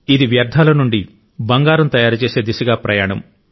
ఇది వ్యర్థాల నుండి బంగారం తయారుచేసే దిశగా ప్రయాణం